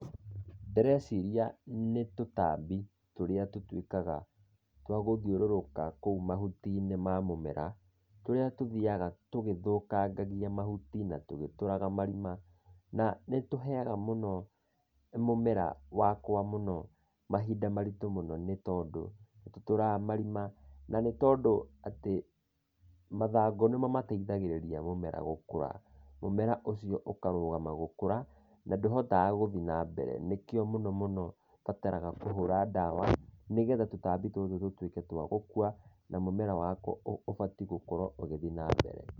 Ndĩreciria nĩ tũtambi tũrĩa tũtuĩkaga, twa gũthiũrũrũka kũu mahuti-inĩ ma mũmera, tũrĩa tũthiaga tũgĩthũkangagia mahuti, na tũgĩtũraga marima. Na nĩtũheaga mũno, mũmera wakwa mũno, mahinda maritũ mũno, nĩtondũ, nĩtũtũraga marima, na nĩtondũ atĩ, mathangũ nĩmo mateithagĩrĩria mũmera gũkũra. Mũmera ũcio ũkarũgama gũkũra, na ndũhotaga gũthiĩ nambere. Nĩkĩo mũno mũno ũbataraga kũhũra ndawa, nĩgetha tũtambi tũtũ tũtuĩke twa gũkua, na mũmera wakwa ũbatiĩ gũkorwo ũgĩthiĩ nambere.